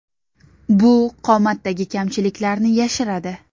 Bu qomatdagi kamchiliklarni yashiradi.